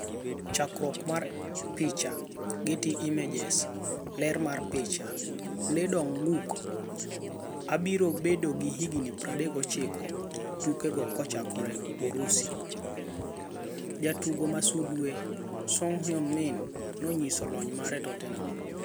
Chakruok mar icha, Getty Images. Ler mar picha, Lee Dong-gook abiro bedo gi higni 39 tuke go kochakore Urusi. Jatugo ma sulwe: Son Heung-min nonyiso lony mare Tottenham.